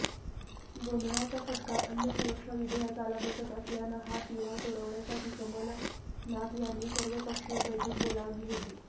गोंधळाचा फटका अन्नसुरक्षा विधेयकाला बसत असल्यानं हा तिढा सोडविण्यासाठी कमलनाथ यांनी सर्वपक्षीय बैठक बोलावली होती